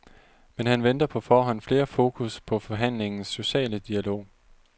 Men han venter på forhånd mere fokus på forhandlingens sociale dialog.